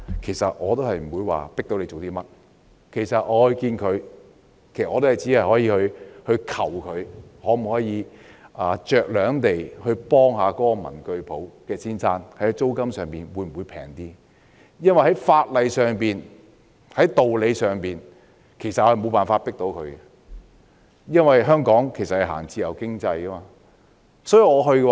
即使我與領展見面，我也只能求領展酌量幫助文具店老闆，看看在租金上可否便宜一點，因為在法例上和道理上，我們無法迫領展做甚麼，因為香港奉行自由經濟。